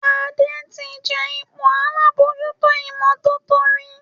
Ade tí jé ipò àlabòjuto imototo rí.